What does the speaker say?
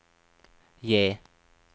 J